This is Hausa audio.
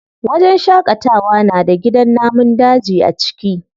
Wajen shaƙatawa na da gidan namun daji a ciki.